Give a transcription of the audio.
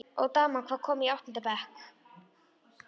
Og daman, hvað- komin í áttunda bekk?